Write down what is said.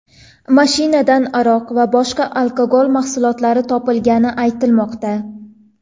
Mashinadan aroq va boshqa alkogol mahsulotlar topilgani aytilmoqda.